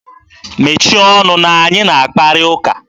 Mechie ọnụ na anyị na akparị ụka!